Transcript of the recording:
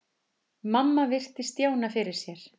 Mamma virti Stjána fyrir sér.